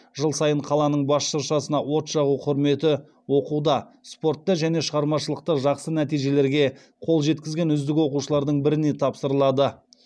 жыл сайын қаланың бас шыршасына от жағу құрметі оқуда спортта және шығармашылықта жақсы нәтижелерге қол жеткізген үздік оқушылардың біріне тапсырылады